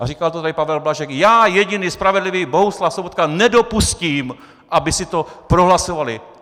A říkal to tady Pavel Blažek: já, jediný spravedlivý Bohuslav Sobotka, nedopustím, aby si to prohlasovali.